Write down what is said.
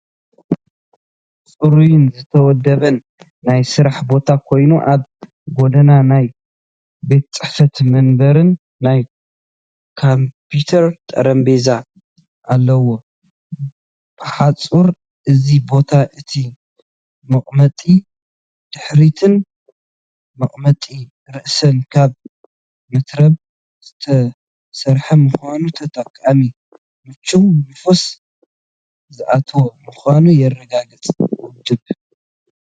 ጽሩይን ዝተወደበን ናይ ስራሕ ቦታ ኮይኑ ኣብ ጎድኑ ናይ ቤት ጽሕፈት መንበርን ናይ ኮምፒተር ጠረጴዛን ኣለዎ። ብሓጺሩ እዚ ቦታ እቲ መቐመጢ ድሕሪትን መቐመጢ ርእስን ካብ መትረብ ዝተሰርሐ ምዃኑ፡ ተጠቃሚ ምቹእን ንፋስ ዝኣትዎን ምዃኑ የረጋግጽ። ውድብ፥